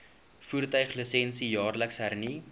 voertuiglisensie jaarliks hernu